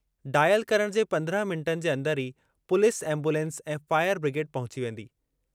Dial करणु जे पंद्रहं मिंटनि जे अंदरि ई पुलिस एंबुलेंस ऐं फ़ाइर ब्रिगेड पहुची वेंदी।